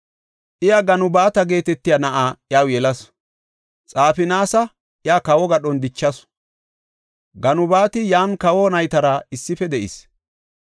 Iya Ganubaata geetetiya na7a iyaw yelasu. Xafinaasa iya kawo gadhon dichasu; Ganubaati yan kawa naytara issife de7is.